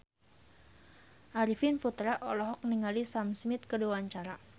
Arifin Putra olohok ningali Sam Smith keur diwawancara